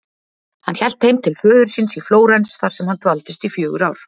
Hann hélt heim til föður síns í Flórens þar sem hann dvaldist í fjögur ár.